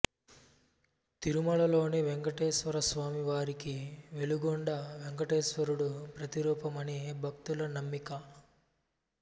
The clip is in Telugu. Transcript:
తిరుమలలోని వేంకటేశ్వరస్వామి వారికి వెలుగొండ వేంకటేశ్వరుడు ప్రతిరూపమని భక్తుల నమ్మిక